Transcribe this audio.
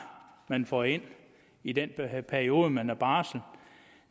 man får ind i den periode man er på barsel